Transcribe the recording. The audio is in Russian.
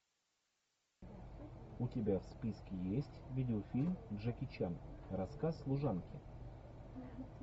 у тебя в списке есть видеофильм джеки чан рассказ служанки